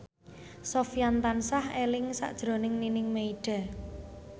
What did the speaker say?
Sofyan tansah eling sakjroning Nining Meida